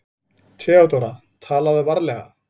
THEODÓRA: Talaðu varlega.